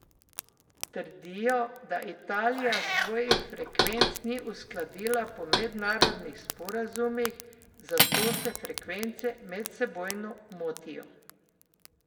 Trdijo, da Italija svojih frekvenc ni uskladila po mednarodnih sporazumih, zato se frekvence medsebojno motijo.